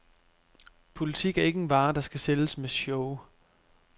Politik er ikke en vare, der skal sælges med show.